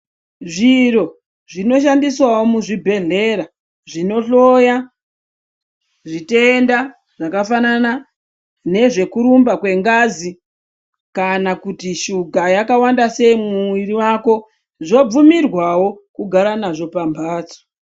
Zviro zvino shandiswawo muzvibhehlera zvinohloya zvitenda zvakafanana nezvekurumba kwengazi kana kuti shuga yakawanda sei mumuviri mako, zvobvumirwawo kugara nazvo pambatso.